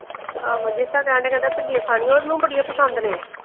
ਆਹੋ ਕਹਿਣ ਡੇਆ ਕਹਿੰਦਾ ਭਿੰਡੀਆਂ ਖਾਣੀਆਂ ਓਹਨੂੰ ਬੜੀਆਂ ਪਸੰਦ ਨੇ।